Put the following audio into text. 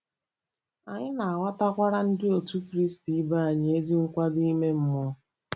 Anyị na-ághọ̀kwara Ndị Otù Kristi ibe anyị ezi nkwado ime mmụọ.